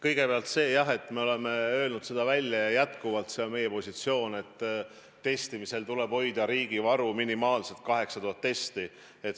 Kõigepealt jah, me oleme seda enne öelnud ja see on jätkuvalt meie positsioon, et tuleb hoida riigi varu minimaalselt 8000 testi.